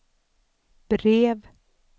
brev